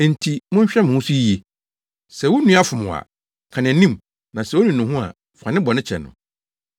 Enti monhwɛ mo ho so yiye. “Sɛ wo nua fom wo a, ka nʼanim na sɛ onu ne ho a, fa ne bɔne kyɛ no.